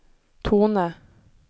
tone